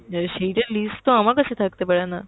সেইটার list তো আমার কাছে থাকতে পারেনা।